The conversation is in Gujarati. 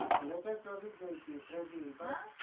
latest freddy જોયી હતી